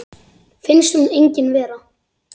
Finnst hún engin vera.